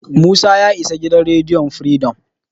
Musa ya isa gidan rediyon Firidom.